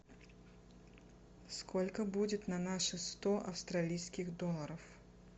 сколько будет на наши сто австралийских долларов